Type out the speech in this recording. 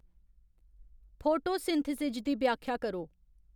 photosynthesis दी व्याख्या करो